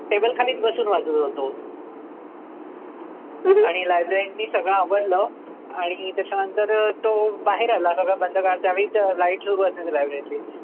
table खालीच बसून वाचत होतो. आणि librarian ने सर्व आवरलं. आणि त्याच्यानंतर तो बाहेर आला. सगळं बंद करायसाठी, त्यावेळी light सुरु असायचे library तले.